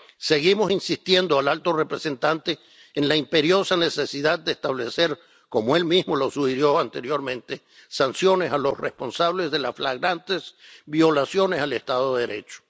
Seguimos insistiendo ante el alto representante en la imperiosa necesidad de establecer ‒como él mismo sugirió anteriormente‒ sanciones a los responsables de las flagrantes violaciones del Estado de Derecho.